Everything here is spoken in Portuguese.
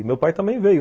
E meu pai também veio.